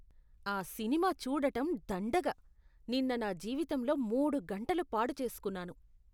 ఆ సినిమా చూడటం దండగ. నిన్న నా జీవితంలో మూడు గంటలు పాడు చేసుకున్నాను